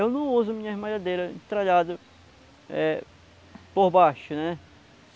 Eu não uso minhas malhadeiras entralhadas eh, por baixo, né?